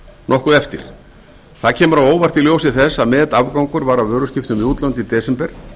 nokkuð eftir það kemur á óvart í ljósi þess að metafgangur var á vöruskiptum við útlönd í desember